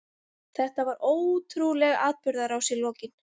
Þetta var ótrúleg atburðarás í lokin.